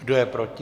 Kdo je proti?